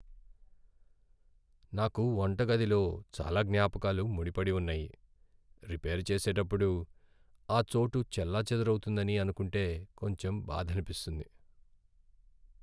నాకు వంటగదితో చాలా జ్ఞాపకాలు ముడిపడి ఉన్నాయి, రిపేర్ చేసేటప్పుడు ఆ చోటు చెల్లాచెదరవుతుందని అనుకుంటే కొంచెం బాధనిపిస్తుంది.